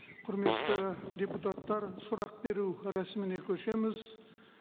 құрметті депутаттар сұрақ беру рәсіміне көшеміз